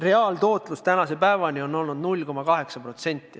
Reaalne tootlus tänase päevani on olnud 0,8%.